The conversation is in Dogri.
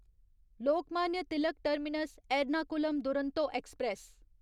Lokmanya Tilak Terminus Ernakulam Duronto express